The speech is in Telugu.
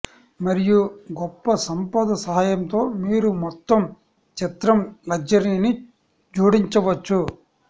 మరియు గొప్ప సంపద సహాయంతో మీరు మొత్తం చిత్రం లగ్జరీని జోడించవచ్చు